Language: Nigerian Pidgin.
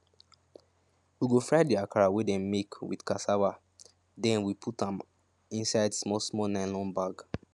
we go fry the akara wey dem make with cassava then we put am inside small small nylon bag